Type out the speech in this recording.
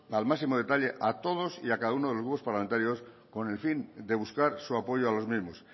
al máximo a todos y a cada uno de los grupos parlamentarios con el fin de buscar su apoyo a los mismos